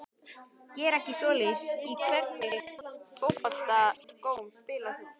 Geri ekki svoleiðis Í hvernig fótboltaskóm spilar þú?